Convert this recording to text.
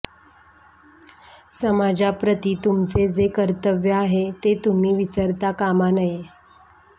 समाजाप्रती तुमचे जे कर्तव्य आहे ते तुम्ही विसरता कामा नये